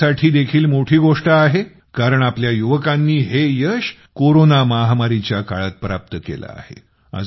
ही यासाठी देखील मोठी गोष्ट आहे कारण आपल्या युवकांनी हे यश कोरोना महामारीच्या काळात प्राप्त केलं आहे